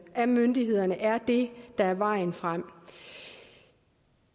af myndighederne er det der er vejen frem